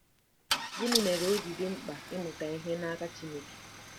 Gịnị mere o ji dị mkpa ịmụta ihe n’aka Chineke?